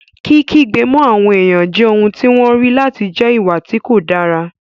Kí kígbe mọ́ àwọn èèyàn jẹ́ ohun tí wọ́n rí láti jẹ́ ìwà tí kò dáa